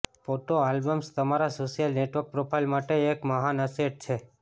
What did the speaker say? photo albums તમારા social network profile માટે એક મહાન અસેટ છે